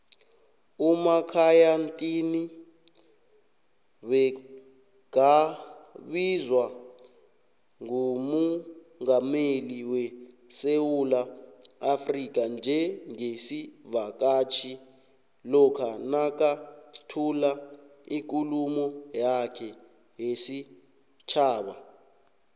umakhaya ntini begabizwa ngumungameli wesewula africa njengesivakatjhi lokha nakathula ikhuluma yakhe yesitjhaba